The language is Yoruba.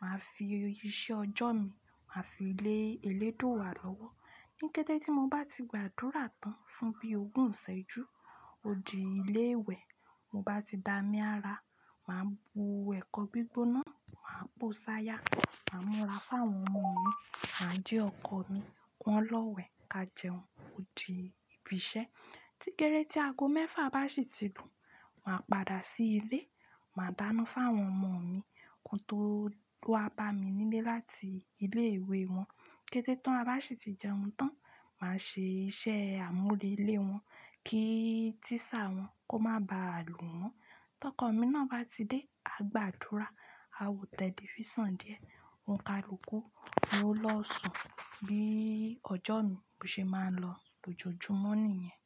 màá fi iṣẹ́ ọjọ́ mi, màá fi lé Elédùrà lọ́wọ́. Ní kété tí mo bá ti gbàdúrà tán fún bí ogún ó ṣẹ́jú, ó di ilé ìwẹ̀. Mo bá ti da mí ara, màá bu ẹ̀kọ́ gbígbóná, màá po ṣaya, màá múra fún àwọn ọmọ mi, màá jí ọkọ̀ mi, wọn lọ́wẹ̀, ká jẹun, ó di ibi iṣẹ́. Tí géré tí ago mẹ́fà bá sì ti lù, màá padà sí ilé, màá dáná fún àwọn ọmọ mi, ohun tó waba mi nílé láti ilé ìwé wọn. Kété tán, a bá sì ti jẹun tán, màá ṣe iṣẹ́ àmúrélé wọ́n kí tísà wọn kó má ba à lù wọ́n. To ko mi náà ba ti de agbadura a wo telifisan díẹ̀ onikaluku wo lo sún bí ọjọ́ mi ṣe máa ń lọ lójoojúmọ́ nìyẹn.